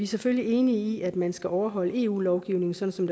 selvfølgelig enige i at man skal overholde eu lovgivningen sådan